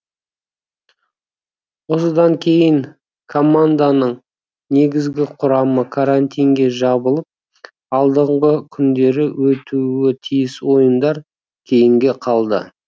осыдан кейін команданың негізгі құрамы карантинге жабылып алдағы күндері өтуі тиіс ойындар кейінге қалды